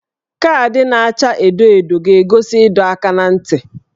Kaadị na-acha edo edo ga-egosi ịdọ aka ná ntị